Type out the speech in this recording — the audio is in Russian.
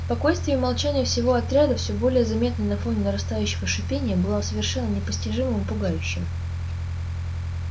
спокойствие и молчание всего отряда всё более заметное на фоне нарастающего шипения было совершенно непостижимым и пугающим